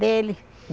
Dele.